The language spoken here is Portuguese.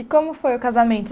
E como foi o casamento?